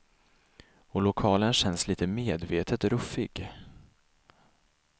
Och lokalen känns lite medvetet ruffig.